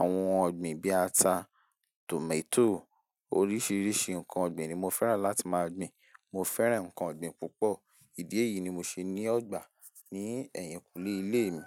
àwọn ohun ọ̀gbìn bí ata, tòmátò oríṣiríṣi nǹkan ọ̀gbìn ni mo fẹ́ràn láti máa gbin. Mo fẹ́ràn nǹkan ọ̀gbìn púpọ̀. Ídí èyí ni mo ṣe ní ọgbà ní ẹ̀yìnkùlé ilé mi.